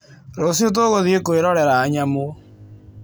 Rũciũ tũgũthiĩ kwĩrorera nyamũ.